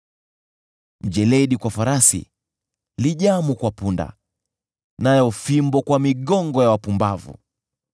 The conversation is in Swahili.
Mjeledi kwa farasi, lijamu kwa punda, nayo fimbo kwa migongo ya wapumbavu!